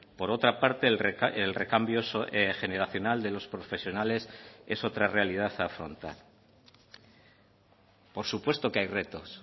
por otra parte el recambio generacional de los profesionales es otra realidad a afrontar por supuesto que hay retos